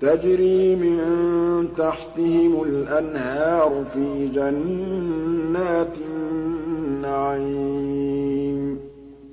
تَجْرِي مِن تَحْتِهِمُ الْأَنْهَارُ فِي جَنَّاتِ النَّعِيمِ